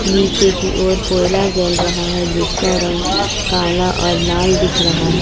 नीचे की ओर कोयला जल रहा है जिसका रंग काला और लाल दिख रहा है।